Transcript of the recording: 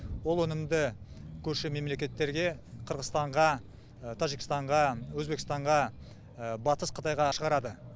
ол өнімді көрші мемлекеттерге қырғызстанға тәжікстанға өзбекстанға батыс қытайға шығарады